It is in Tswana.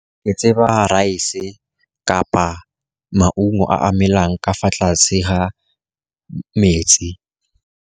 Ke tseba rice kapa maungo a emelang ka fa tlase ga metsi.